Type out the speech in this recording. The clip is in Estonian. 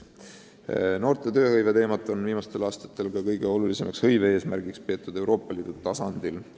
Noorte tööhõivet on viimastel aastatel kõige olulisemaks hõivealaseks teemaks peetud ka Euroopa Liidu tasandil.